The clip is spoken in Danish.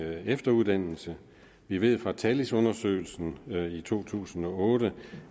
efteruddannelse vi ved fra talis undersøgelsen i to tusind og otte